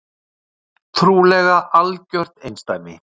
Trúlega algjört einsdæmi